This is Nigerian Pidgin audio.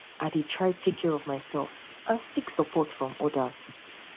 i dey try to take care of myself and seek support from odas